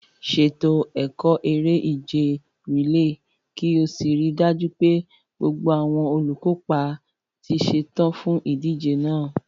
Ṣètò ẹ̀kọ́ eré-ìje rìléè kí o sì rí i dájú pé gbogbo àwọn olùkópa ti ṣetán fún ìdíje náà.